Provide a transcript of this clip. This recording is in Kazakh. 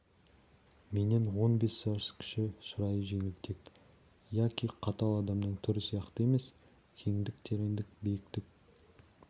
менен он бес жас кіші шырайы жеңілтек яки қатал адамның түрі сияқты емес кеңдік тереңдік биіктік